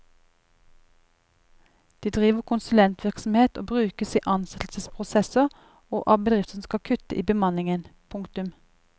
De driver konsulentvirksomhet og brukes i ansettelsesprosesser og av bedrifter som skal kutte i bemanningen. punktum